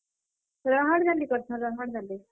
ରାହାଡ୍ ଡାଲି କରସନ୍, ରାହାଡ୍ ଡାଲି।